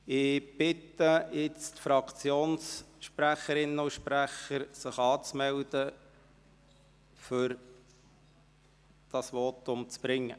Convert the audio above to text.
Ich bitte nun die Fraktionssprecherinnen und -sprecher, sich anzumelden, um dann ihre Voten zu halten.